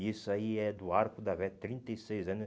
E isso aí é do arco da velha, trinta e seis anos.